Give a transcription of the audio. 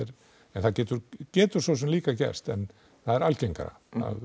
en það getur getur svosem líka gerst en það er algengara